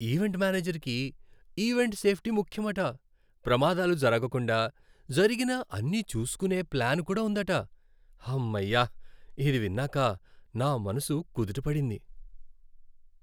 Event మేనేజర్కి event safety ముఖ్యమట, ప్రమాదాలు జరగకుండా, జరిగినా అన్నీ చూసుకునే ప్లాన్ కూడా ఉందట. హమ్మయ్య! ఇది విన్నాక నా మనసు కుదుట పడింది.